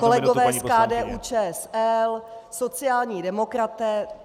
Kolegové z KDU-ČSL, sociální demokraté.